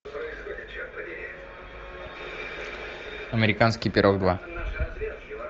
американский пирог два